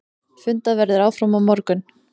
Fundað verður áfram á morgun.